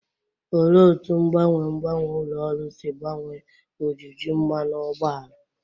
Olee otú mgbanwe mgbanwe ụlọ ọrụ si gbanwee ojiji mmanụ ụgbọala?